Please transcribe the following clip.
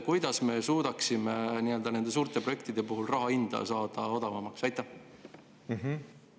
Kuidas me suudaksime nende suurte projektide puhul raha hinda odavamaks saada?